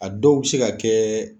A dɔw be se ka kɛ